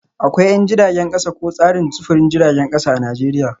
Akwai 'yan jiragen kasa ko tsarin sufurin jiragen kasa a Najeriya